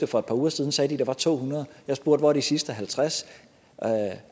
for et par uger siden sagde de at der var to hundrede jeg spurgte hvor er de sidste halvtreds